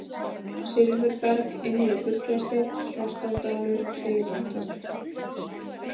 Silfurberg, Innri-Fuglasteinn, Svartárdalur, Kleifartögl